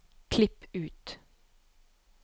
Klipp ut